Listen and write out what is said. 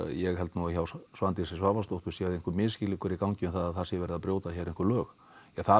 ég held nú að hjá Svandísi Svavarsdóttur sé einhver misskilningur um það að það sé verið að brjóta hér einhver lög það